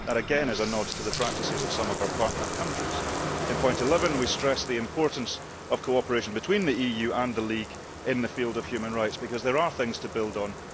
That again is a nod to the practices of some of our partner countries. In point 11 we stress the importance of cooperation between the EU and the League in the field of human rights because there are things to build on.